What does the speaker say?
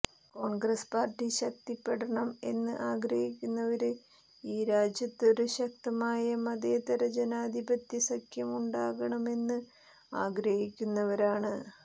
Congress party ശക്തിപ്പെടണം എന്നു ആഗ്രഹിക്കുന്നവര് ഈ രാജ്യത്തൊരു ശക്തമായ മതേതരജനാധിപത്യ സഖ്യം ഉണ്ടാകണമെന്ന് ആഗ്രഹിക്കുന്നവരാണ്